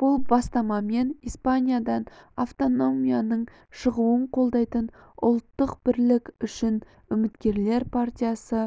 бұл бастамамен испаниядан автономияның шығуын қолдайтын ұлттық бірлік үшінүміткерлер партиясы